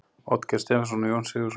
Oddgeir Stephensen og Jón Sigurðsson.